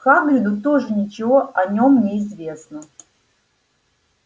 хагриду тоже ничего о нём не известно